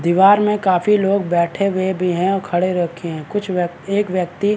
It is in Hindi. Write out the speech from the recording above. दिवार में काफ़ी लोग बैठे हुए भी हैं और खड़े रखे हैं कुछ व्य एक वयक्ति --